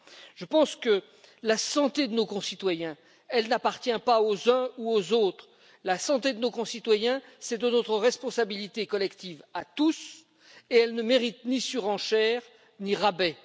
Je pense que la santé de nos concitoyens n'appartient pas aux uns ou aux autres. La santé de nos concitoyens est notre de responsabilité collective et elle ne mérite ni surenchère, ni rabais.